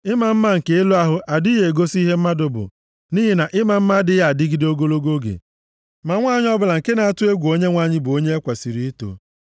Ịma mma nke elu ahụ adịghị egosi ihe mmadụ bụ, nʼihi na ịma mma adịghị adịgide ogologo oge. Ma nwanyị ọbụla nke na-atụ egwu Onyenwe anyị bụ onye e kwesiri ito.